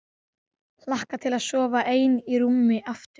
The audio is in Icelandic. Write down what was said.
Hlakka til að sofa ein í rúmi aftur.